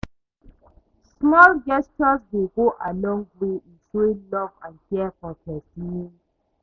Small gesture dey go a long way in showing love and care for pesin.